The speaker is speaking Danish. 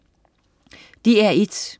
DR1: